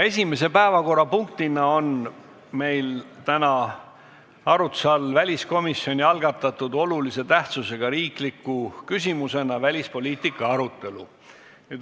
Esimene päevakorrapunkt on väliskomisjoni algatatud olulise tähtsusega riikliku küsimusena välispoliitiika arutelu.